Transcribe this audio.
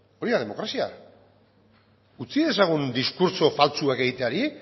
hori da demokrazia utzi dezagun diskurtso faltsuak egiteari